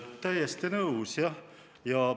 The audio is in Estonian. Täiesti nõus, jah!